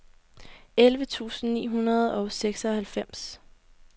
elleve tusind ni hundrede og seksoghalvfems